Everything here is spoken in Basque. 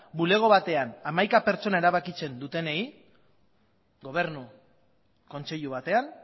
bulego batean hamaika pertsona erabakitzen dutenei gobernu kontseilu batean